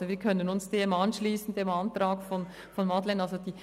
Daher können wir uns dem Antrag von Madeleine Amstutz anschliessen: